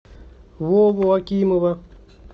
вову акимова